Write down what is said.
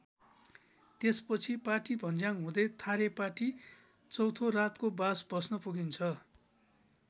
त्यसपछि पाटीभन्ज्याङ हुँदै थारेपाटी चौथो रातको बास बस्न पुगिन्छ।